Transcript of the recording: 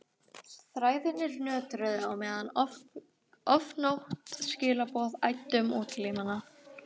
Þræðirnir nötruðu á meðan ofgnótt skilaboða æddu um útlimina.